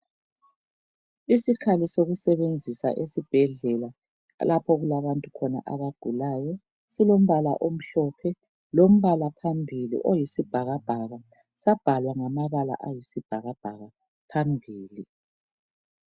Isikhali sokusebenzisa esibhedlela lapha okulabantu khona abagulayo silimbala omhlophe lombala phambili oyisibhakabhaka sabhalwa ngamabala oyisibhakabhaka phambili.